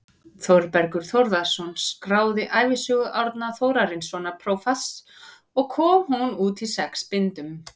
Þórbergur Þórðarson skráði ævisögu Árna Þórarinssonar prófasts og kom hún út í sex bindum.